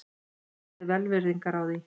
Beðist er velvirðingar á því